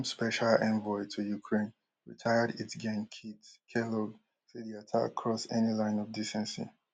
earlier trump special envoy to ukraine retired ltgen keith kellogg say di attack cross any line of decency